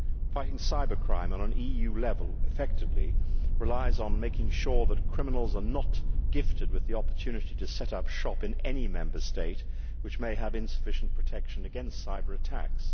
Fighting cybercrime on an EU level effectively depends on making sure that criminals are not gifted with the opportunity to set up shop in any Member State which may have insufficient protection against cyber attacks.